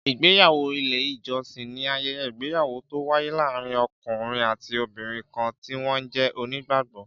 Ìgbéyàwó ilé ìjọsìn ni ayẹyẹ ìgbéyàwó to waye láàárín ọkùnrin àti obìnrin kan ti wọn jẹ́ onígbàgbọ